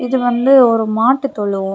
இது வந்து ஒரு மாட்டு தொழுவோ.